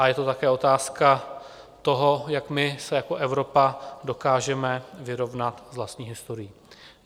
A je to také otázka toho, jak my se jako Evropa dokážeme vyrovnat s vlastní historií.